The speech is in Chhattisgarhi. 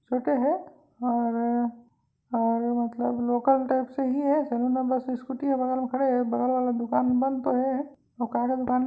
छोटे हे और और और मतलब लोकल टाइप से ही हे नंबर सी स्कूटी हे बगल में खड़े हे बगल वाला दुकान बंद तो हे वो कागज़ उठाने--